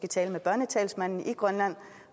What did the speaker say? tale med børnetalsmanden i grønland